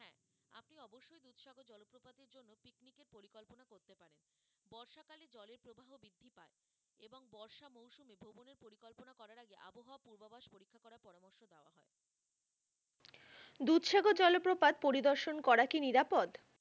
দুধসাগর জলপ্রপাত পরিদর্শন করা কি নিরাপদ?